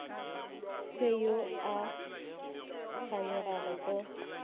fe yo a kganyogago go